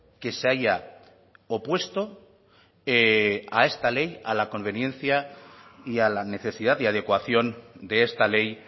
que se haya opuesto a esta ley a la conveniencia y a la necesidad de adecuación de esta ley